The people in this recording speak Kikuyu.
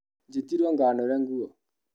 Njĩtirwo nganũre nguo